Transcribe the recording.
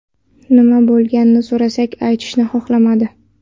Nima bo‘lganini so‘rasak, aytishni xohlamadi.